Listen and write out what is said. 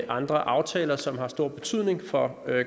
andre aftaler som har stor betydning for